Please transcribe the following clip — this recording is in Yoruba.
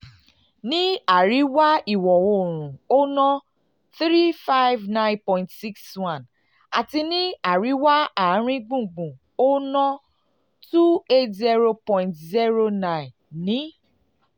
ní àríwá ìwọ̀ oòrùn ó ná n three hundred fifty nine point six one àti ní àríwá àárín gbùngbùn ó ná n two hundred eighty point zero nine ní